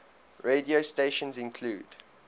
radio stations include